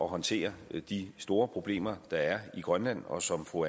håndtere de store problemer der er i grønland og som fru